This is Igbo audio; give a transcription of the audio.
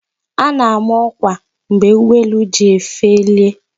A na-ama ọkwa mgbe ụgbọelu ga-eji felie